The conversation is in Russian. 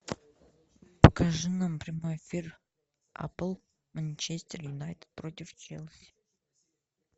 покажи нам прямой эфир апл манчестер юнайтед против челси